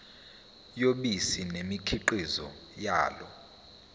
yobisi nemikhiqizo yalo